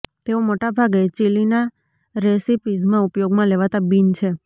તેઓ મોટાભાગે ચિલીના રેસિપીઝમાં ઉપયોગમાં લેવાતા બીન છે